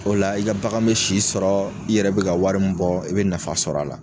O la i ka bagan bɛ si sɔrɔ, i yɛrɛ bɛ ka wari bɔ i bɛ nafa sɔrɔ a la.